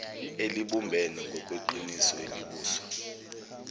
elibumbene ngokweqiniso elibuswa